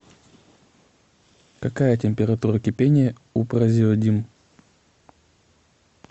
какая температура кипения у празеодим